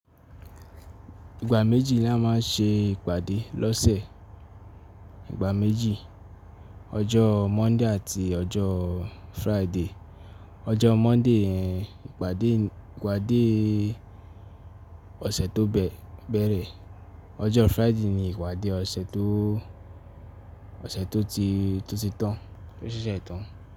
Ìgbà méjì la máa ń ṣe ìpàdé lọ́sẹ̀, ìgbà méjì. Ọjọ́ Monday àti ọjọ́ Friday. Ọjọọ Monday ni ìpàdé, ìpàdé ọ̀sẹ̀ tó bẹ̀, bẹ̀rẹ̀. Ọjọ́ Friday ni ìpàdé ọ̀sẹ̀ tó, ọ̀sẹ̀ tó ti, tó ti tán, tó ṣẹ́ṣẹ́ tán.